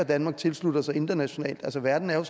danmark tilslutter sig internationalt verden er jo